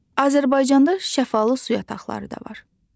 Azərbaycanda şəfalı su yataqları da var.